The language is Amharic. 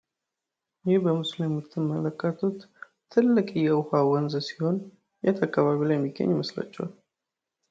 ይህ በምስሉ ላይ የምትመለከቱት ትልቅ የውሃ ወንዝ ሲሆን የት አካባቢ ላይ የሚገኝ ይመስላቸዋል?